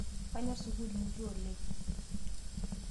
Kanyor sukul inji oleng'